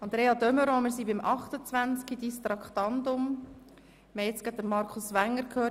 Grossrätin de Meuron, wünschen Sie das Wort?